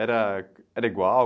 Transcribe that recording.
Era, era igual?